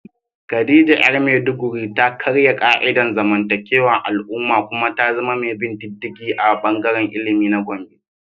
Khadija ‘yar Maiduguri ta karya ka’idar zamantakewar al’umma kuma ta zama mai bin diddigi a bangaren ilimi na Gombe.